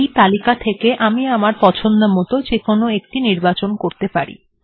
এখানে আমি আমার পছন্দমত যেকোনো একটি নির্বাচন করতে পারি